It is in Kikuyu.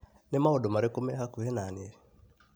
Ni maũndũ marĩkũ me hakuhĩ na niĩ?